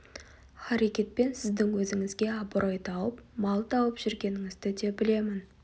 харакетпен сіздің өзіңізге абырой тауып мал тауып жүргеніңізді де білемін